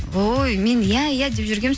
ой мен иә иә деп жүргенмін